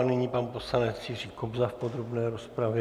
A nyní pan poslanec Jiří Kobza v podrobné rozpravě.